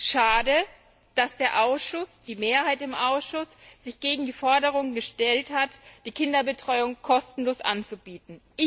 Schade, dass die Mehrheit im Ausschuss sich gegen die Forderung gestellt hat, die Kinderbetreuung kostenlos anzubieten.